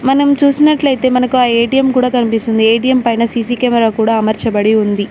మనం చూసినట్లయితే మనకు ఆ ఏ_టీ_ఎం కూడ కనిపిస్తుంది ఏ_టీ_ఎం పైన సీసీ కెమెరా కూడా అమర్చబడి ఉంది.